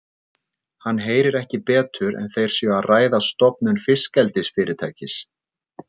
Hann heyrir ekki betur en þeir séu að ræða stofnun fiskeldisfyrirtækis.